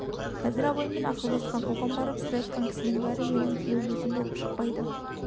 қазір абаймен ақылдасқан оған барып сыр айтқан кісінің бәрі менің тілеулесім болып шықпайды